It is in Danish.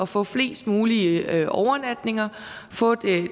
få flest mulige overnatninger og få